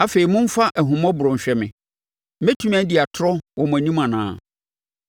“Afei momfa ahummɔborɔ nhwɛ me. Mɛtumi adi atorɔ wɔ mo anim anaa?